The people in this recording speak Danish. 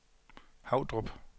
Havdrup